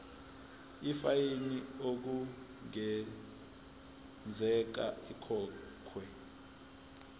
ifayini okungenzeka ikhokhwe